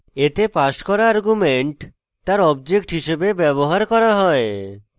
এতে passed করা argument তার object হিসেবে ব্যবহার করা হয়